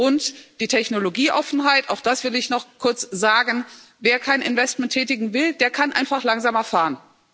Was die Technologieoffenheit betrifft, auch das will ich noch kurz sagen Wer kein Investment tätigen will, der kann einfach langsamer fahren.